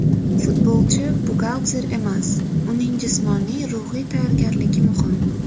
Futbolchi buxgalter emas, uning jismoniy, ruhiy tayyorgarligi muhim.